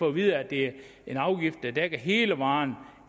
at vide at det er en afgift der dækker hele varen og